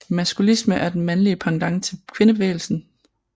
Maskulisme er den mandlige pendant til kvindebevægelsen